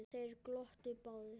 Þeir glottu báðir.